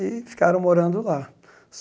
E ficaram morando lá.